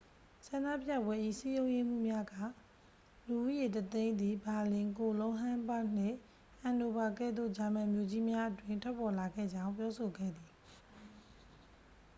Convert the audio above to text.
ဆန္ဒပြပွဲ၏ စည်းရုံးရေးမှူးများက လူဦးရေ 100,000 သည် ဘာလင် ကိုလုံး ဟမ်းဘာ့ဂ်နှင့် ဟန်နိုဗာကဲ့သို့ ဂျာမန်မြို့ကြီးများအတွင်း ထွက်ပေါ်လာခဲ့ကြောင်း ပြောဆိုခဲ့သည်